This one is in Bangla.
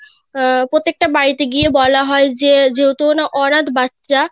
আহ প্রত্যেক টা বাড়িতে গিয়ে বলা হয় যে যেহেতু অনাথ বাচ্চা